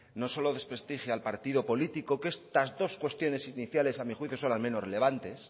no solo desprestigia al partido político que estas dos cuestiones iniciales a mi juicio son las menos relevantes